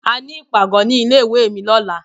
A ní ìpàgọ́ ní ilé ìwé mi lọ́la.